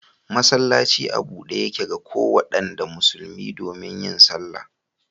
Masallaci a bude Yake ga kowanda musulmi domin yin sallah.